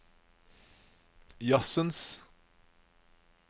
jazzens